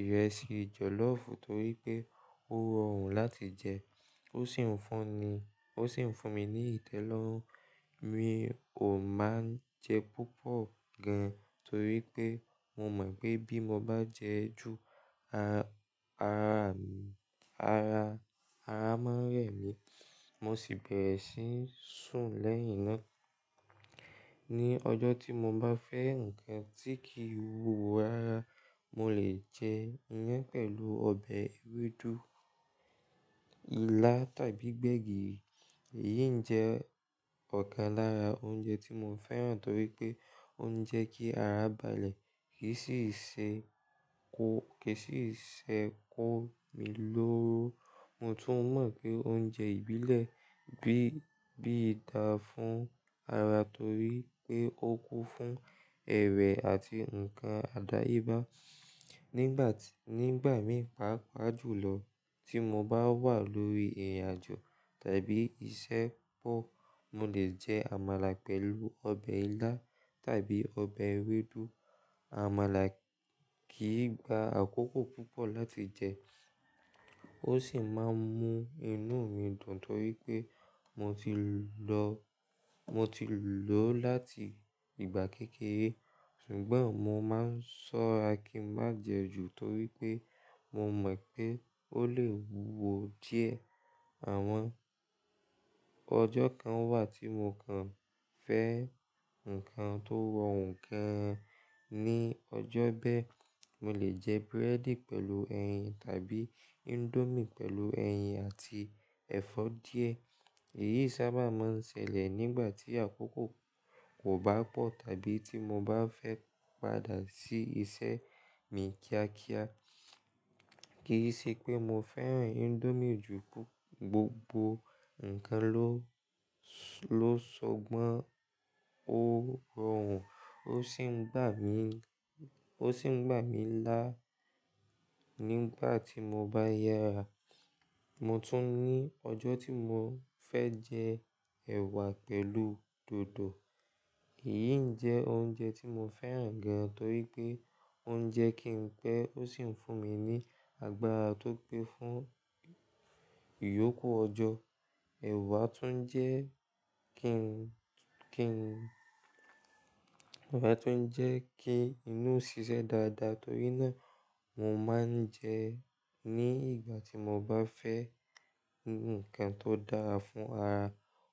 ìrẹsì jọ̀lọ́fù torí pé ó rọrùn láti jẹ ó sì ń fún ni–ó sì ń fúnmi ní ìtẹ́lọ́rùn. Mi ò máa ń jẹ púpọ̀ gan torí pé mo mọ̀ pé bí mo bá jẹ ju, ara máa ń rẹ̀ mí mo sì bẹ̀rẹ̀ sí ń sùn lẹ́yìn náà. Ni ọjọ́ tí mo bá fẹ́ ǹkan tí kìí wúwo rárá, mo lè jẹ iyán pẹ̀lù ọbẹ̀ ewédú, ilá, tàbí gbẹ̀gìrì. Èyí ń jẹ́ ọ̀kan lára oúnjẹ tí mo fẹ́ràn torí pé ó ń jẹ́ kí ara balẹ̀ kì í sì se kó–kì í sì se kó mi lóró. Mo tún mọ̀ pé oúnjẹ ìbílẹ̀ bí ìta fún ara torí pé ó kún fún ẹ̀rẹ̀ àti ǹkan àdáyébá. Nígbà mí pàápàá jùlọ tí mo bá wà lórí ìrìnàjò tàbí iṣẹ́ pọ̀, mo lè jẹ àmàlà pẹ̀lù ọbẹ̀ ilá tàbí ọbẹ̀ ewédú. Àmàlà kìí gba àkókò púpọ̀ láti jẹ ó sì máa ń mú inú mi dùn torí pé, mo ti mo ti lò ó láti ìgbà kékeré. Ṣùgbọ́n mo máa ń ṣọ́ra kí n má jẹ ju torí pé mo mọ̀ pé ó lè wúwo díẹ̀. Àwọn ọjọ́ kan wà tí mo kàn fẹ́ ǹkan tó rọrùn gan-an. Ni ọjọ́ bẹ́ẹ̀, mo lè jẹ búrẹ́dì pẹ̀lù ẹyin tàbí índómì pẹ̀lù ẹyin àti ẹ̀fọ́ díẹ̀. Èyí sábà máa ń ṣẹlẹ̀ nígbà tí àkókò kò bá pọ̀ tàbí tí mo bá fẹ́ padà sí isẹ́ mi kíákíá. Kì í ṣe pé mo fẹ́ràn Indomie ju pú–gbogbo ǹkan ló sọgbọ́n ó rọrùn ó sì ń gbà ó sì ń gbà mí lá. Nígbà tí mo bá yára, mo tún ní ọjọ́ tí mo fẹ́ jẹ ẹwà pẹ̀lú dòdò. Èyí n jẹ́ oúnjẹ tí mo fẹ́ràn gan torí pé ó ń jẹ́ kí n pẹ́ ó sì ń fún mi ní agbára tó pé fún ìyókù ọjọ́. Ẹ̀wà tún jẹ́ kí n–kí n, ẹ̀wà tún jẹ́ kí inú ó ṣiṣẹ́ dáadáa torí náà mo máa ń jẹ ẹ́ ní ìgbà tí mo bá fẹ́ ǹkan tó dára fún ara.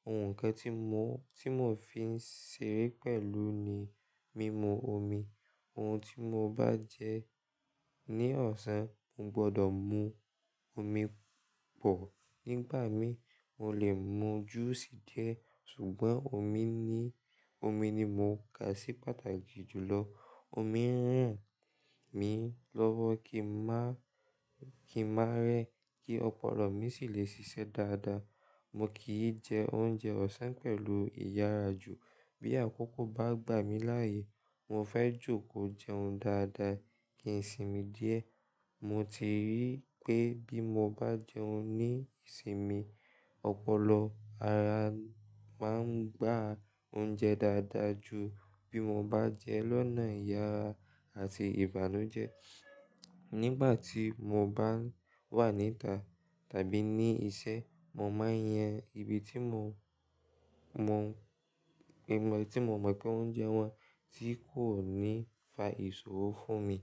Ohun kan tí mo ó–tí mo fi ń seré pẹ̀lú ni mímu omi. Ohun tí mo bá jẹ ní ọ̀sán, mo gbọdọ̀ mu omi pọ̀. Nígbà mi, mo lè mu júùsì díẹ̀ ṣùgbọ́n omi ni mo kà sí pàtàkì jùlọ. Omi ń ràn mí lọ́wọ́ kí n má–kí n má rẹ kí ọpọlọ mi sì lè ṣiṣẹ́ dáadáa. Mo kìí jẹ oúnjẹ ọ̀sán pẹ̀lu ìyára jù. Bí àkókò bá gbà mí láàyè, mo fẹ́ jòkó jẹun dáadáa kí n sinmi díẹ̀. Mo ti rí pé bí mo bá jẹun ní ìsinmi, ọpọlọ ara máa ń gbà oúnjẹ dáadáa ju bí mo bá jẹ lọ́nà ìyára àti ìbànújẹ́. Nígbà tí mo bá wà níta tàbí ní isẹ́, mo máa ń yan ibi mó n tí mo mọ̀ pé oúnjẹ wọn tí kò ní fa ìsòro fún mi.